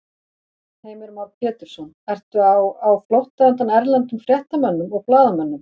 Heimir Már Pétursson: Ertu á, á, á flótta undan erlendum fréttamönnum og blaðamönnum?